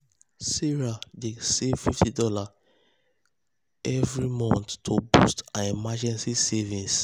sarah dey save fifty dollarsevery save fifty dollarsevery month to boost her emergency savings.